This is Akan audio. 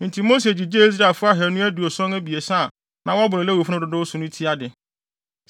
Enti Mose gyigyee Israelfo ahannu aduɔson abiɛsa a na wɔboro Lewifo no dodow so no ti ade.